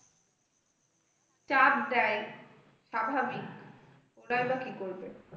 চাপ দেয় স্বাভাবিক ওরাই বা কি করবে?